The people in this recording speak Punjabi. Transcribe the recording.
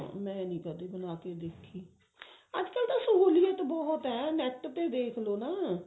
ਮੈਂ ਨੀ ਕਦੇ ਬਣਾ ਕੇ ਦੇਖੀ ਅਜਕਲ ਤਾਂ ਸਹੂਲੀਅਤ ਬਹੁਤ ਹੈ net ਤੇ ਦੇਖਲੋ ਨਾ